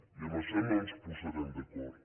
i en això no ens posarem d’acord